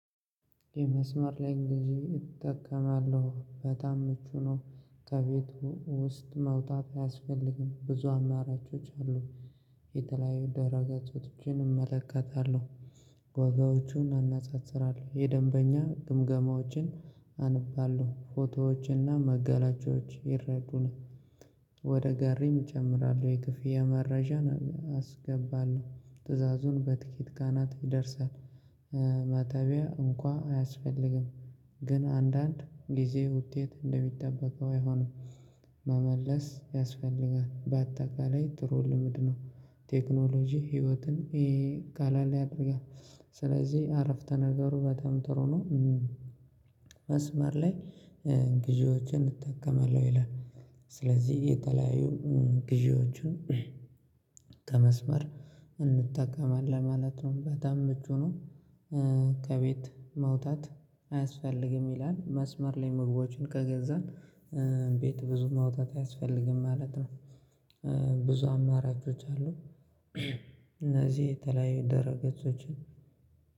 የመስመር ላይ እንግዲህ እጠቀማለሁ በጣም ምቹ ነው። ከቤት ውስጥ መውጣት አያስፈልግም ብዙ አማራጮች አሉ። የተለያዩ ደህረ ገጾችን እመለከታለሁ። ዋጋዎቹን አነጻጽራለሁ የደንበኛ ግምገማዎችን አነባለሁ ፎቶዎችንና መገላጫዎች ይረዱናል። ወደ ጋሪም እጨምራለሁ የክፍያ መረጃን አስገባለሁ ትዕዛዙን በትኬት ጋና ይደርሳል። መተቢያ እንኳን አያስፈልግም። ግን አንዳንድ ጊዜ ውጤት እንደሚጠበቀው አይሆንም። መመለስ ያስፈልጋል በአጠቃላይ ጥሩ ልምድ ነው። ቴክኖሎጂ ህይወትን ይሄ ቀለል ያደርጋል። ስለዚህ አረፍተ ነገሩ በጣም ጥሩ ነው። መስመር ላይ ግዢዎችን እጠቀማለሁ ይላል። ስለዚህ የተለያዩ ግዢዎችን። እንጠቀማለን ማለት ነው በጣም ምቹ ነው። ከቤት መውጣት አያስፈልግም ይላል መስመር ላይ ምግቦችን ከገዛን ቤት ብዙ መውጣት አያስፈልግም ማለት ነው። ብዙ አማራጮች አሉ። እነዚህ የተለያዩ ድህረ ገጾችን